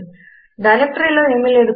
డైరెక్టరీలో ఏమీ లేదు